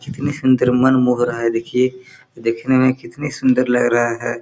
कितनी सुन्दर मन मोह रहा है देखिये देखने में कितनी सुन्दर लग रहा है।